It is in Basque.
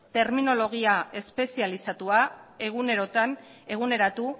terminologia espezializatua eguneratu